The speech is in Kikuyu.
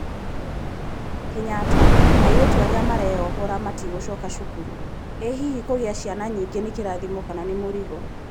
Kenyatta: airĩtu arĩa mareyohora matigũcoka cukuru, ĩ hihi kugĩa ciana nyingĩ nĩ kĩrathimo kana nĩ mũrigo